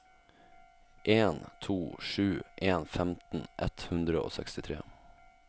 en to sju en femten ett hundre og sekstitre